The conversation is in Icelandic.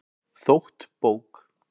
Þótt bók